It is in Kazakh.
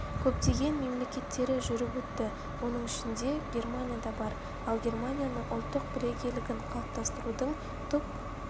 көптеген мемлекеттері жүріп өтті оның ішінде германия да бар ал германияның ұлттық бірегейлігін қалыптастырудың тұп